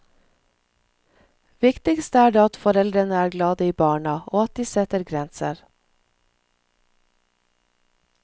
Viktigst er det at foreldrene er glade i barna, og at de setter grenser.